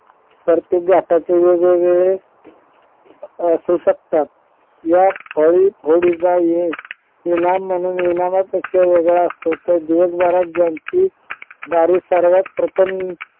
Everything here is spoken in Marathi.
तर ते आताचे वेगवेगळे असू शकत यात फोडी फोडीचा इनाम म्हणून इनामापेक्षा वेगळा असतो तर दिवसभरात ज्यांची गाडी सर्वात प्रथम